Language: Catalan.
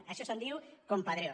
d’això se’n diu compadreo